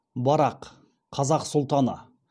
барақ қазақ сұлтаны